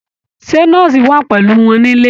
Ṣé nọ́ọ̀sì wà pẹ̀lú wọn nílé